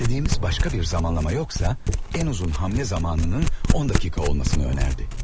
İstədiyimiz başqa bir vaxt yox idisə, ən uzun gediş vaxtının 10 dəqiqə olmasını təklif etdi.